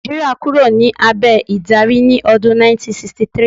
Nàìjíríà kúrò ní abẹ̀ ìdarí ní ọdún 1963